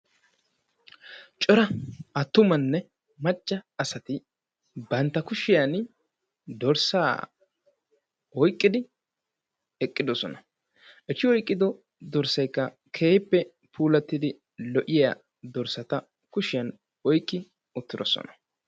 Cora attumanne macca asati bantta kushiyan dorssaa oyqqidi eqqidosona. Eti oyqqido dorssaykka keehippe puulattidi lo'iya dorssata kushiyan oyqqi uttidosona.